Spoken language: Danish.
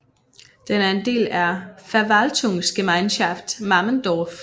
Den er en del af Verwaltungsgemeinschaft Mammendorf